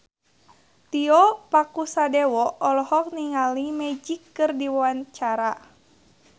Tio Pakusadewo olohok ningali Magic keur diwawancara